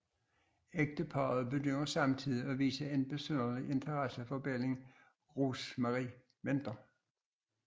Ægteparet begynder samtidig at vise en besynderlig interesse for barnet Rosemary venter